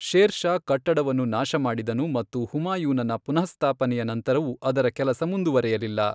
Share Shah ಕಟ್ಟಡವನ್ನು ನಾಶಮಾಡಿದನು ಮತ್ತು ಹುಮಾಯೂನನ ಪುನಃಸ್ಥಾಪನೆಯ ನಂತರವೂ ಅದರ ಕೆಲಸ ಮುಂದುವರೆಯಲಿಲ್ಲ.